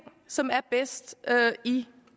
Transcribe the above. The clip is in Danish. som er bedst i